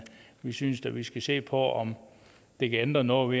vi synes da vi skal se på om det kan ændre noget